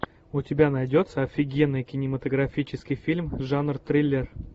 у тебя найдется офигенный кинематографический фильм жанр триллер